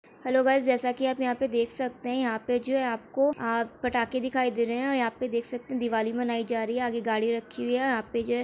hello guys जैसा की आप यहाँ पे देख सकते है यहाँ पे जो है आपको अ पटाखे दिखाई दे रहे है और यहाँ पे देख सकते है दिवाली मनाई जा रही है आगे गाड़ी रखी हुई है यहाँ पे जो है --